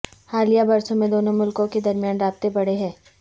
حالیہ برسوں میں دونوں ملکوں کے درمیان رابطے بڑھے ہیں